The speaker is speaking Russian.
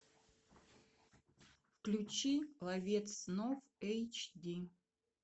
включи ловец снов эйч ди